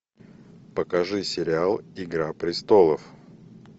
покажи сериал игра престолов